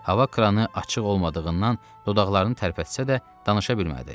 Hava kranı açıq olmadığından dodaqlarını tərpətsə də, danışa bilmədi.